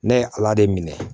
Ne ye ala de minɛ